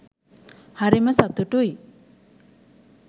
හරිම සතුටුයි.